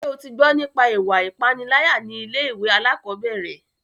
Ṣé o tí gbọ́ nípa ìwà ipániláyà ní ilé ìwé alákọ̀berẹ̀?